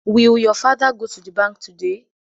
Will your father go to the bank today?